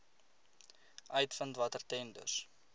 uitvind watter tenders